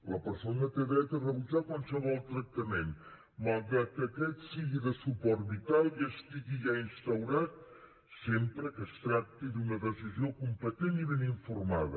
la persona té dret a rebutjar qualsevol tractament malgrat aquest sigui de suport vital i estigui ja instaurat sempre que es tracti d’una decisió competent i ben informada